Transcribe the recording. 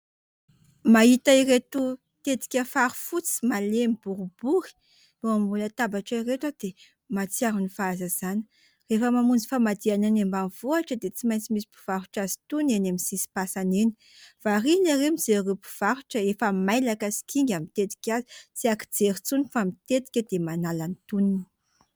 Mahita ireto tetika fary fotsy malemy boribory eo ambony latabatra ireto aho dia mahatsiaro ny fahazazana. Rehefa mamonjy famadihana any ambanivohitra dia tsy maintsy misy mpivarotra azy itony eny amin'ny sisim-pasana eny. Variana ery mijery ireo mpivarotra efa mailaka sy kinga mitetika azy. Tsy ankijery intsony fa mitetika dia manala ny tonony.